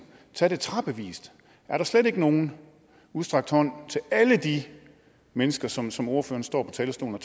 tage det trappevis er der slet ikke nogen udstrakt hånd til alle de mennesker som som ordføreren står på talerstolen